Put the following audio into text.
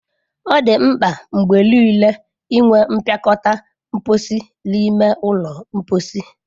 Ọ dị mkpa mgbe niile inwe mpịakọta mposi n'ime ụlọ mposi.